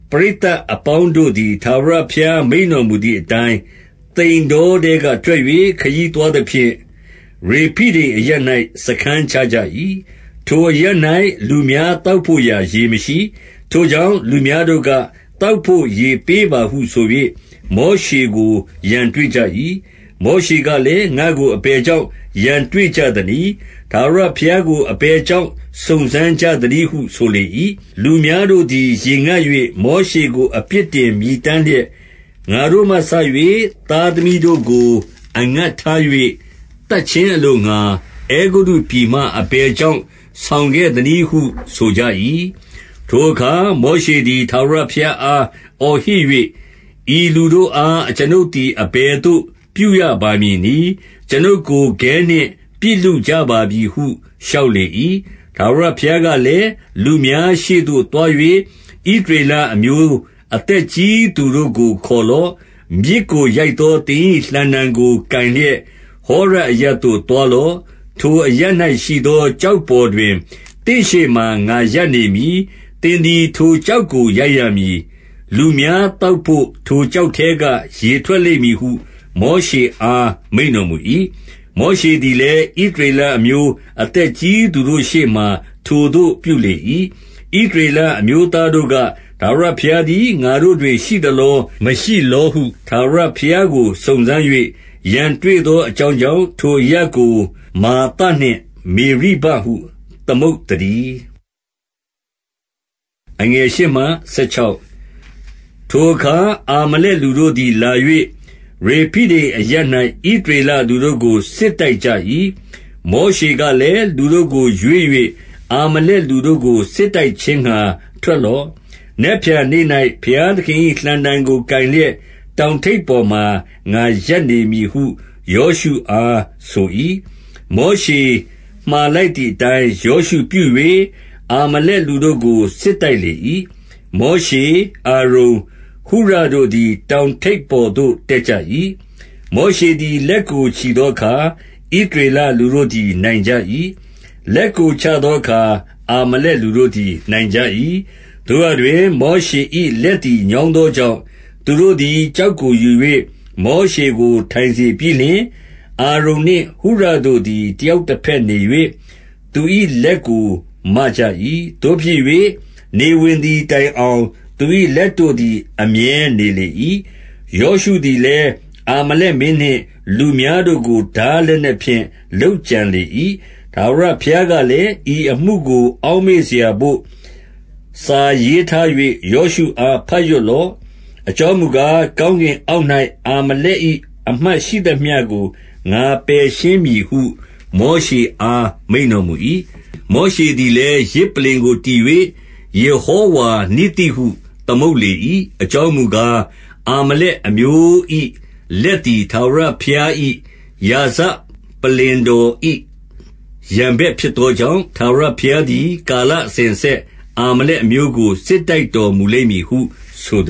ပရိသတ်အပေါင်းတို့သည်၊ ထာဝရဘုရား မိန့်တော်မူသည်အတိုင်း၊ သိန်တောထဲက ထွက်၍ ခရီးသွားသဖြင့်၊ ရေဖိဒိမ်အရပ်၌ စားခန်းချကြ၏။ ထိုအရပ်၌ လူများသောက်ဘို့ရာ ရေမရှိ။ ထိုကြောင့် လူများတို့က၊ သောက်ဘို့ရေပေးပါဟု ဆို၍ မောရှေကို ရန်တွေ့ကြ၏။ မောရှေကလည်း၊ ငါ့ကို အဘယ်ကြောင့် ရန်တွေ့ကြသနည်း။ ထာဝရဘုရားကို အဘယ်ကြောင့် စုံစမ်းကြသနည်းဟု ဆိုလေ၏။ လူများတို့သည် ရေငတ်၍ မောရှေကို အပြစ်တင် မြည်တမ်းလျက်၊ ငါတို့မှစ၍ သားသမီးတိရစ္ဆာန်တို့ကို အငတ်ထား၍ သတ်ခြင်းအလိုငှာ၊ အဲဂုတ္တုပြည်မှ အဘယ်ကြောင့် ဆောင်ခဲ့သနည်းဟု ဆိုကြ၏။ ထိုအခါ မောရှေသည် ထာဝရဘုရားအား အော်ဟစ်၍၊ ဤလူတို့အား အကျွန်ုပ်သည် အဘယ်သို့ ပြုရပါမည်နည်း။ အကျွန်ုပ်ကို ခဲနှင့် ပစ်လုကြပါပြီဟု လျှောက်လေ၏။ ထာဝရဘုရားကလည်း၊ လူများရှေ့သို့သွား၍ ဣသရေလအမျိုး အသက်ကြီးသူတို့ကို ခေါ်လော့။ မြစ်ကို ရိုက်သော သင်၏လှံတံကို ကိုင်လျက်၊ ဟောရပ်အရပ်သို့ သွားလော့။ ထိုအရပ်၌ရှိသော ကျောက်ပေါ်တွင် သင့်ရှေ့မှာ ငါရပ်နေမည်။ သင်သည် ထိုကျောက်ကို ရိုက်ရမည်။ လူများသောက်ဘို့ ထိုကျောက်ထဲက ရေထွက်လိမ့်မည်ဟု မောရှေအား မိန့်တော်မူ၏။ မောရှေသည်လည်း ဣသရေလအမျိုး အသက်ကြီးသူတို့ရှေ့မှာ ထိုသို့ပြုလေ၏။ ဣသရေလအမျိုးသားတို့က၊ ထာဝရဘုရားသည် ငါတို့တွင် ရှိသလော မရှိလောဟု ထာဝရဘုရားကို စုံစမ်း၍ ရန်တွေ့သောအကြောင်းကြောင့်၊ ထိုအရပ်ကို မဿာနှင့် မေရိဘဟု သမုတ်သတည်း။ ထိုအခါ အာမလက်လူတို့သည် လာ၍၊ ရေဖိဒိမ်အရပ်၌ ဣသရေလလူတို့ကို စစ်တိုက်ကြ၏။ မောရှေကလည်း၊ လူတို့ကို ရွေး၍ အာမလက်လူတို့ကို စစ်တိုက်ခြင်းငှာ ထွက်လော့။ နက်ဖြန်နေ့၌ ဘုရားသခင်၏လှံတံကို ကိုင်လျက်၊ တောင်ထိပ်ပေါ်မှာ ငါရပ်နေမည်ဟု ယောရှုအားဆို၏။ မောရှေမှာလိုက်သည်အတိုင်း ယောရှုပြု၍၊ အာမလက်လူတို့ကို စစ်တိုက်လေ၏။ မောရှေ၊ အာရုန်၊ ဟုရတို့သည် တောင်ထိပ်ပေါ်သို့ တက်ကြ၏။ မောရှေသည် လက်ကို ချီသောအခါ၊ ဣသရေလလူတို့သည် နိုင်ကြ၏။ လက်ကို ချသောအခါ၊ အာမလက်လူတို့သည် နိုင်ကြ၏။ သို့ရာတွင် မောရှေ၏လက်သည် ညောင်းသောကြောင့်၊ သူတို့သည် ကျောက်ကိုယူ၍ မောရှေကို ထိုင်စေပြီးလျှင်၊ အာရုန်နှင့် ဟုရတို့သည် တယောက်တဘက်နေ၍ သူ၏လက်ကို မကြ၏။ သို့ဖြစ်၍ နေဝင်သည်တိုင်အောင် သူ၏လက်တို့သည် အမြဲနေလေ၏။ ယောရှုသည်လည်း အာမလက်မင်းနှင့် လူများတို့ကို ထားလက်နက်ဖြင့် လုပ်ကြံလေ၏။ ထာဝရဘုရားကလည်း၊ ဤအမှုကို အောက်မေ့စရာဘို့ စာရေးထား၍ ယောရှုအား ဘတ်ရွတ်လော့။ အကြောင်းမူကား၊ ကောင်းကင်အောက်၌ အာမလက်၏ အမှတ်ရှိသမျှကို ငါပယ်ရှင်းမည်ဟု မောရှေအား မိန့်တော်မူ၏။ မောရှေသည်လည်း ယဇ်ပလ္လင်ကို တည်၍၊ ယေဟောဝါနိဿိဟု သမုတ်လေ၏။ အကြောင်းမူကား၊ အာမလက်လူမျိုး၏ လက်သည် ထာဝရဘုရား၏ ရာဇပလ္လင်တော်၏ ရန်ဘက်ဖြစ် သောကြောင့်၊ ထာဝရဘုရားသည် ကာလအစဉ်အဆက် အာမလက်အမျိုးကို စစ်တိုက်တော်မူလိမ့်မည်ဟု ဆို